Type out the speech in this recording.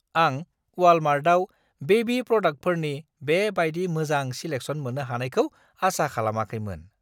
आं वालमार्टआव बेबी प्रडाक्टफोरनि बे बायदि मोजां सिलेक्सन मोन्नो हानायखौ आसा खालामाखैमोन।